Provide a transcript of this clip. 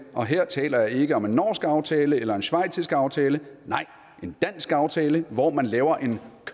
og her taler jeg ikke om en norsk aftale eller en schweizisk aftale nej en dansk aftale hvor man laver en